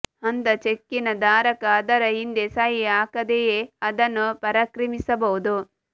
ಅಂಥ ಚೆಕ್ಕಿನ ಧಾರಕ ಅದರ ಹಿಂದೆ ಸಹಿ ಹಾಕದೆಯೇ ಅದನ್ನು ಪರಾಕ್ರಮಿಸಬಹುದು